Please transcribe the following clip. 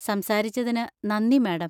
സംസാരിച്ചതിന് നന്ദി, മാഡം.